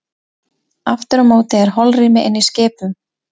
Aftur á móti er holrými inni í skipum.